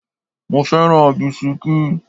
Mo fẹ́ràn bisikí.